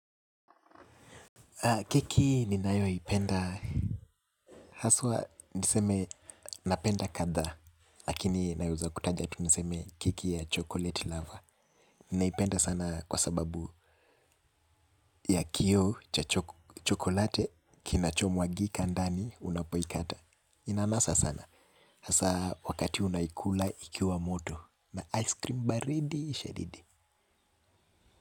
Keki ninayo ipenda haswa niseme napenda kadhaa lakini naweza kutaja tu niseme keki ya chocolate lover. Ninaipenda sana kwa sababu ya kio cha chocolate kinachomwagika ndani unapoikata. Inanasa sana hasa wakati unaikula ikiwa moto na ice cream baridi shadidi.